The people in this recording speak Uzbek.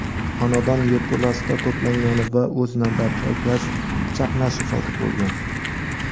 xonadon yerto‘lasida to‘plangani va o‘z navbatida gaz chaqnashi sodir bo‘lgan.